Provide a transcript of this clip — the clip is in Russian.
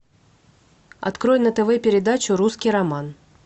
открой на тв передачу русский роман